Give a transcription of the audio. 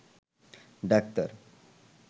doctor